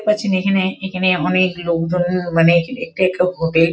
পাচ্ছেন এখানে এখানে অনেক লোকজন মানে ।